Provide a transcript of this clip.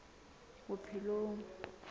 bophelong